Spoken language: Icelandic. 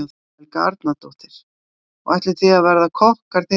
Helga Arnardóttir: Og ætlið þið að verða kokkar þegar þið eruð orðnir stórir?